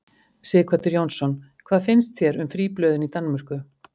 Sighvatur Jónsson: Hvað finnst þér um fríblöðin í Danmörku?